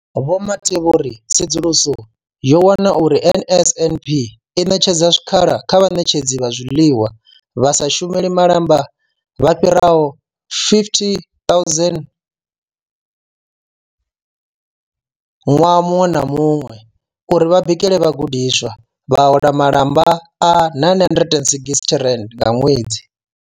Vho Mathe vho ri tsedzuluso yo wana uri NSNP i ṋetshedza zwikhala kha vhaṋetshedzi vha zwiḽiwa vha sa shumeli malamba vha fhiraho 50 000 ṅwaha muṅwe na muṅwe uri vha bikele vhagudiswa, vha hola malamba a R960 nga ṅwedzi.